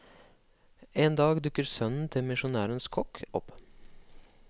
En dag dukker sønnen til misjonærenes kokk opp.